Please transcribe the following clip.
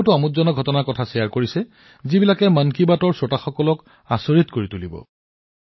তেওঁ অতি আকৰ্ষণীয় তথ্য প্ৰস্তুত কৰিছে যিয়ে মন কী বাত শুনি থকা লোকসকলক আচৰিত কৰিব